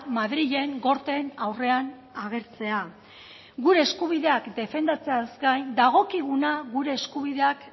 madrilen gorteen aurrean agertzea gure eskubideak defendatzeaz gain dagokiguna gure eskubideak